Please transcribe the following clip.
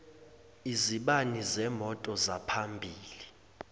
izibani zemoto zaphambili